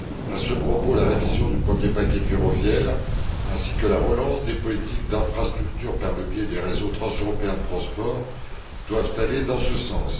À ce propos, la révision du premier paquet ferroviaire ainsi que la relance des politiques d'infrastructure par le biais des réseaux transeuropéens de transport doivent aller dans ce sens.